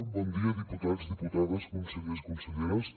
bon dia diputats diputades consellers i conselleres